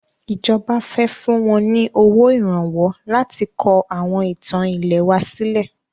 Ìjọba fẹ fún wọn ní owó Ìrànwọ́ láti kọ àwọn ìtàn ilẹ̀ wa sílẹ̀